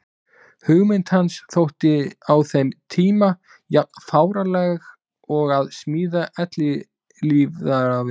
Hugmynd hans þótti á þeim tíma jafn fáránleg og að smíða eilífðarvél.